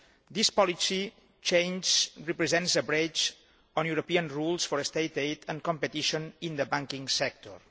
This policy change represents a breach of European rules on state aid and competition in the banking sector.